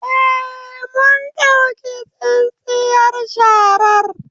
Eh, mun ɗauki tsintsiyar sharar